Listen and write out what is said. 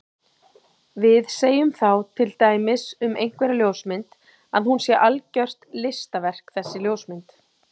Við segjum þá til dæmis um einhverja ljósmynd að hún sé algjört listaverk þessi ljósmynd.